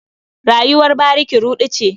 Rayuwar bariki ruɗu ce.